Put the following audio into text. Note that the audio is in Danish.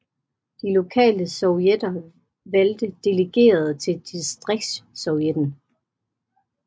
De lokale sovjetter valgte delegerede til distriktssovjetten